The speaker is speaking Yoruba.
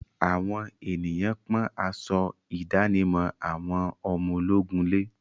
Àwọn ènìyàn pọ́n aṣọ ìdánimọ̀ àwọn ọmọ ológun lé.